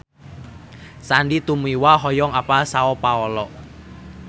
Sandy Tumiwa hoyong apal Sao Paolo